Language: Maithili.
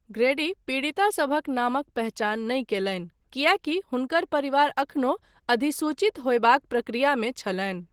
ग्रैडी पीड़ितासभक नामक पहचान नहि कयलनि, किएकी हुनकर परिवार एखनो अधिसूचित होयबाक प्रक्रियामे छलनि।